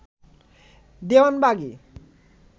Dewanbagi